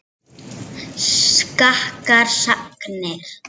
Skakkar sagnir.